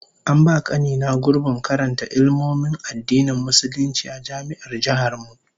An ba kani na gurbin karanta Ilmomin Addinin Musulunci a Jami'ar Jihar mu